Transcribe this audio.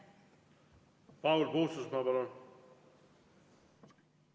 Paul Puustusmaa, palun!